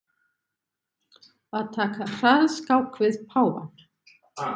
Að taka hraðskák við páfann